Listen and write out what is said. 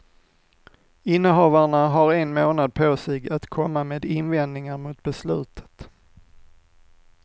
Innehavarna har en månad på sig att komma med invändningar mot beslutet.